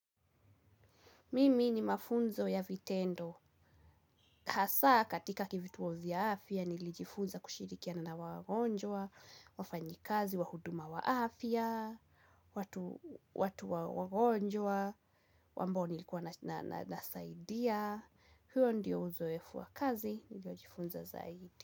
Mimi ni mafunzo ya vitendo. Hasa katika vituo vya afia nilijifunza kushirikiana wagonjwa, wafanyikazi wa huduma wa afia, watu wagonjwa ambao nilikuwa nasaidia. Huyo ndio uzoefu wa kazi, nilijifunza zaidi.